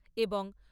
এবং